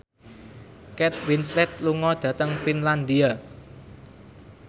Kate Winslet lunga dhateng Finlandia